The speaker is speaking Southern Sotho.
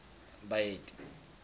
baeti